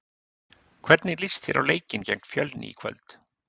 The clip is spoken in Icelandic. Hvernig líst þér á leikinn gegn Fjölni í kvöld?